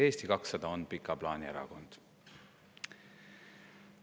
Eesti 200 on aga pika plaani erakond.